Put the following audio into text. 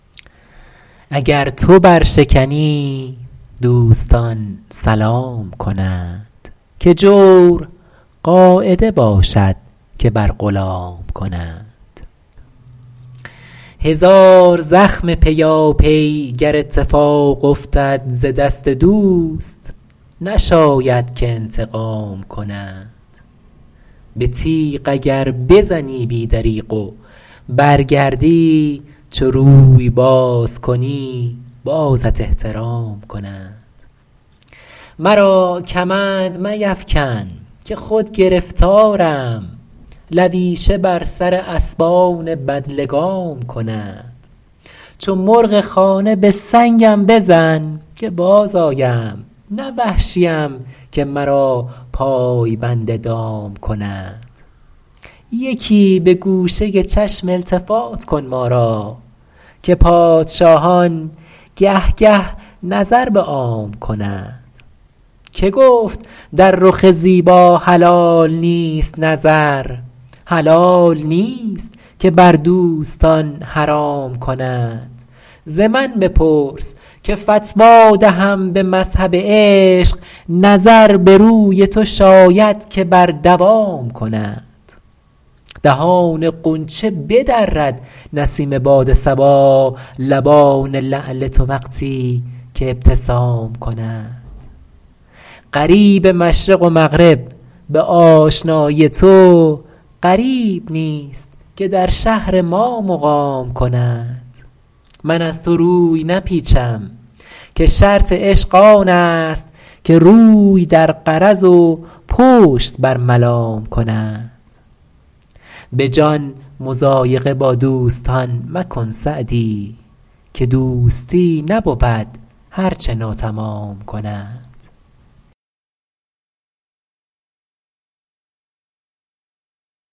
اگر تو برشکنی دوستان سلام کنند که جور قاعده باشد که بر غلام کنند هزار زخم پیاپی گر اتفاق افتد ز دست دوست نشاید که انتقام کنند به تیغ اگر بزنی بی دریغ و برگردی چو روی باز کنی بازت احترام کنند مرا کمند میفکن که خود گرفتارم لویشه بر سر اسبان بدلگام کنند چو مرغ خانه به سنگم بزن که بازآیم نه وحشیم که مرا پای بند دام کنند یکی به گوشه چشم التفات کن ما را که پادشاهان گه گه نظر به عام کنند که گفت در رخ زیبا حلال نیست نظر حلال نیست که بر دوستان حرام کنند ز من بپرس که فتوی دهم به مذهب عشق نظر به روی تو شاید که بر دوام کنند دهان غنچه بدرد نسیم باد صبا لبان لعل تو وقتی که ابتسام کنند غریب مشرق و مغرب به آشنایی تو غریب نیست که در شهر ما مقام کنند من از تو روی نپیچم که شرط عشق آن است که روی در غرض و پشت بر ملام کنند به جان مضایقه با دوستان مکن سعدی که دوستی نبود هر چه ناتمام کنند